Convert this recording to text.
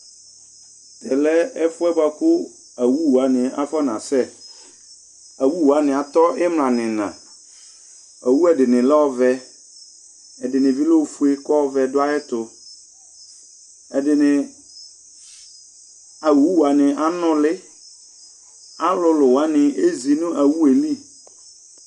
tɛlɛ ɛfuɛ boa ku awu wani afɔ nasɛ awu wani atɔ imla ni ina awu dini lɛ ɔvɛ ɛdini bi lɛ ofué kɔ ɔvɛ du ayɛ tu ɛdini awu wani anuli ɔlulu wani ézi na awué li